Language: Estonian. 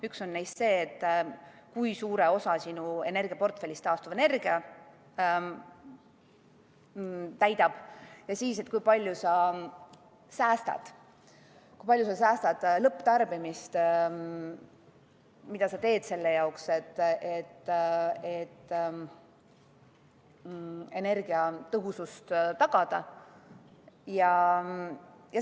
Üks on see, kui suure osa sinu energiaportfellist täidab taastuvenergia, ja teine see, kui palju sa säästad lõpptarbimises ja mida sa teed selle jaoks, et energiatõhusust tagada.